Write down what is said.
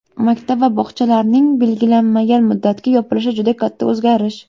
Maktab va bog‘chalarning belgilanmagan muddatga yopilishi juda katta o‘zgarish.